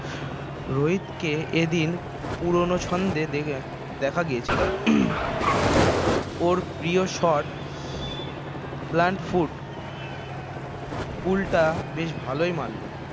রোহিত কে এ দিন পুরোনো ছন্দে দেখা গিয়েছিল ওর প্রিয় shot plant foot pull টা বেশ ভালই মারল